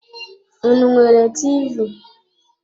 Unu enwere TV?